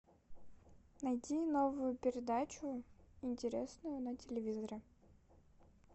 найди новую передачу интересную на телевизоре